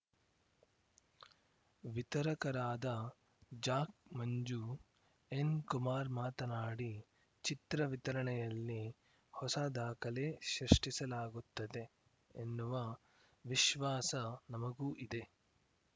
ವಿತರಕರಾದ Jack Manju N Kumar ಮಾತನಾಡಿ ಚಿತ್ರ ವಿತರಣೆಯಲ್ಲಿ ಹೊಸ ದಾಖಲೆ ಸೃಷ್ಟಿಸಲಾಗುತ್ತೆ ಎನ್ನುವ ವಿಶ್ವಾಸ ನಮಗೂ ಇದೆ